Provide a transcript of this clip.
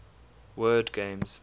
word games